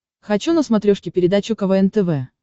хочу на смотрешке передачу квн тв